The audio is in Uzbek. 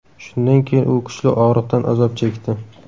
Shundan keyin u kuchli og‘riqdan azob chekdi.